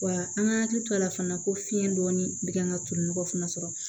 Wa an ka hakili to a la fana ko fiɲɛ dɔɔnin bɛ kan ka tolinɔgɔ fana sɔrɔ